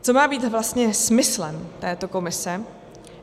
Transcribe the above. Co má být vlastně smyslem této komise?